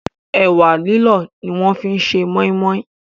Ẹ̀wà lílọ̀ ni wọ́n fi ṣe Mọ́í mọ́í